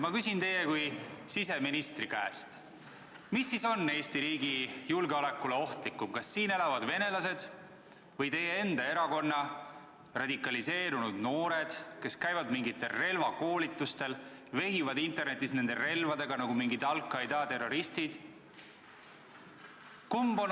Ma küsin teie kui siseministri käest: kes on Eesti riigi julgeolekule ohtlikumad, kas siin elavad venelased või teie enda erakonna radikaliseerunud noored, kes käivad mingitel relvakoolitustel ja vehivad internetis nende relvadega nagu mingid al-Qaeda terroristid?